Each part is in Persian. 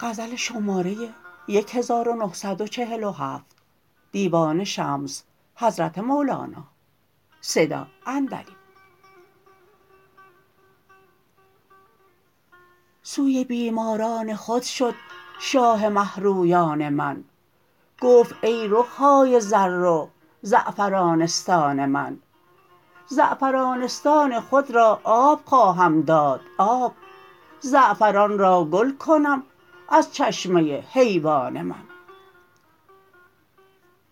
سوی بیماران خود شد شاه مه رویان من گفت ای رخ های زرد و زعفرانستان من زعفرانستان خود را آب خواهم داد آب زعفران را گل کنم از چشمه حیوان من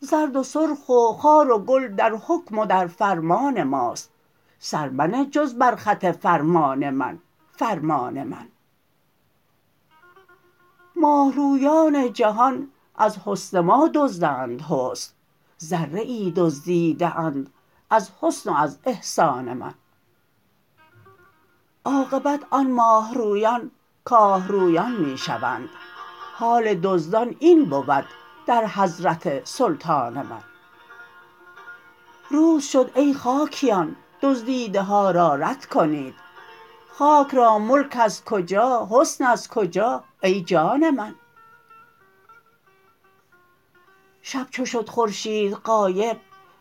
زرد و سرخ و خار و گل در حکم و در فرمان ماست سر منه جز بر خط فرمان من فرمان من ماه رویان جهان از حسن ما دزدند حسن ذره ای دزدیده اند از حسن و از احسان من عاقبت آن ماه رویان کاه رویان می شوند حال دزدان این بود در حضرت سلطان من روز شد ای خاکیان دزدیده ها را رد کنید خاک را ملک از کجا حسن از کجا ای جان من شب چو شد خورشید غایب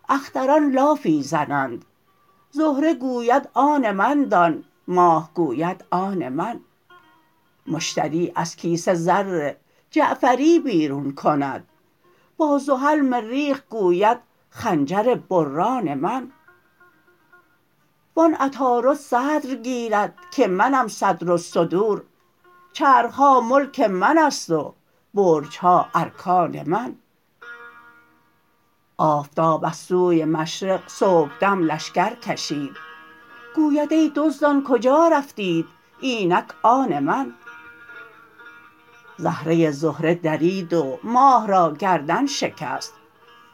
اختران لافی زنند زهره گوید آن من دان ماه گوید آن من مشتری از کیسه زر جعفری بیرون کند با زحل مریخ گوید خنجر بران من وان عطارد صدر گیرد که منم صدرالصدور چرخ ها ملک من است و برج ها ارکان من آفتاب از سوی مشرق صبحدم لشکر کشد گوید ای دزدان کجا رفتید اینک آن من زهره زهره درید و ماه را گردن شکست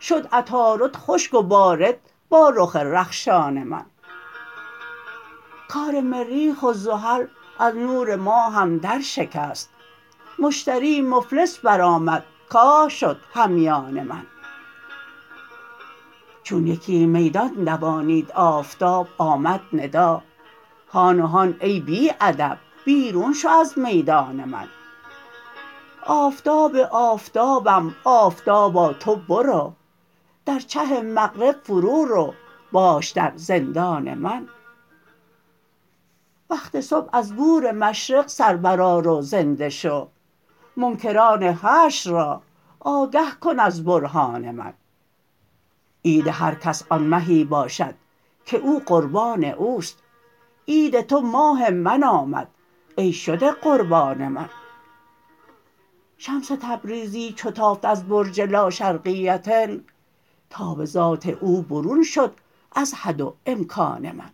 شد عطارد خشک و بارد با رخ رخشان من کار مریخ و زحل از نور ماهم درشکست مشتری مفلس برآمد کاه شد همیان من چون یکی میدان دوانید آفتاب آمد ندا هان و هان ای بی ادب بیرون شو از میدان من آفتاب آفتابم آفتابا تو برو در چه مغرب فرورو باش در زندان من وقت صبح از گور مشرق سر برآر و زنده شو منکران حشر را آگه کن از برهان من عید هر کس آن مهی باشد که او قربان او است عید تو ماه من آمد ای شده قربان من شمس تبریزی چو تافت از برج لاشرقیه تاب ذات او برون شد از حد و امکان من